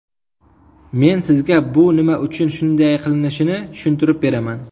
Men sizga bu nima uchun shunday qilinishini tushuntirib beraman.